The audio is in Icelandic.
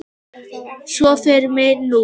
Svo fer mér nú.